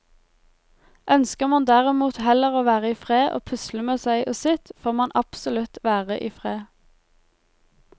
Ønsker man derimot heller å være i fred og pusle med seg og sitt, får man absolutt være i fred.